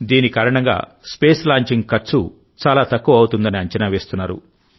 దీని కారణంగా space launching ఖర్చు చాలా తక్కువఅవుతుందని అంచనా వేస్తున్నారు